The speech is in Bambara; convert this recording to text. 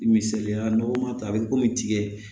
Misaliya loɔgɔ ma ta a bɛ komi tigɛ